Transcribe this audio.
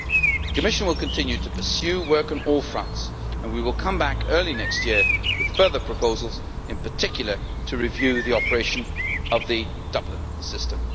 The Commission will continue to pursue work on all fronts, and we will come back early next year with further proposals, in particular, to review the operation of the Dublin system.